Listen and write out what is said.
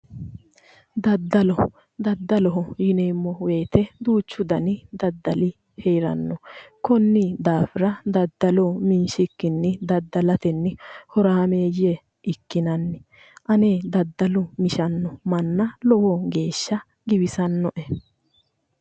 Daddalo daddaloho yineemmo woyiite duuchu dani daddali heeranno konni daafira daddalo minshikkini daddalatenni horameeyye ikkinanni ane daddalo mishanno manna lowo geeshsha giwisanno"e